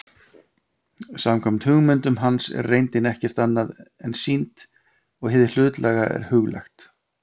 Samkvæmt hugmyndum hans er reyndin ekkert annað en sýnd og hið hlutlæga er huglægt.